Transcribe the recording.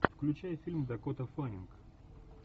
включай фильм дакота фаннинг